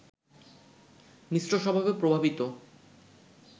মিশ্র স্বভাবে প্রভাবিত